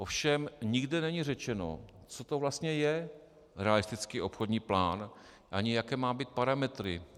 Ovšem nikde není řečeno, co to vlastně je realistický obchodní plán ani jaké má mít parametry.